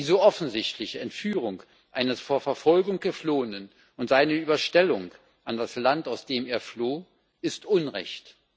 Die so offensichtliche Entführung eines vor Verfolgung Geflohenen und seine Überstellung an das Land, aus dem er floh, ist Unrecht.